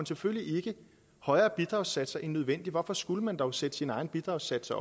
selvfølgelig ikke højere bidragssatser end nødvendigt hvorfor skulle man dog sætte sine egne bidragssatser